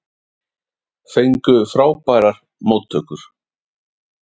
Fengu frábærar móttökur